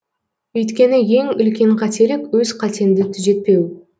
өйткені ең үлкен қателік өз қатеңді түзетпеу